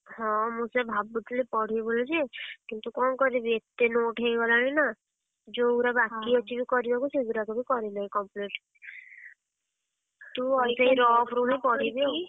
ହଁ ମୁଁ ସେୟା ଭାବୁଥିଲି ପଢିବି ବୋଲି ଯେ କିନ୍ତୁ କଣ କରିବି ଏତେ note ହେଇଗଲାଣି ନା, ଯୋଉଉଡା ବାକି ସେଇଗୁଡା ବି କରି ନାହିଁ complete rough ରୁ ହିଁ ପଢିବି ଆଉ।